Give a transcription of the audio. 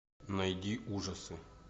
найди ужасы